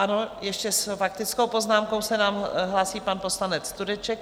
Ano, ještě s faktickou poznámkou se nám hlásí pan poslanec Tureček.